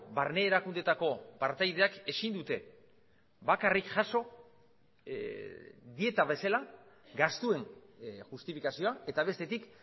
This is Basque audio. barne erakundeetako partaideak ezin dute bakarrik jaso dieta bezala gastuen justifikazioa eta bestetik